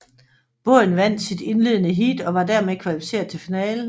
Båden vandt sit indledende heat og var dermed kvalificeret til finalen